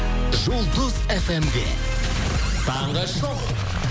жұлдыз фм де таңғы шоу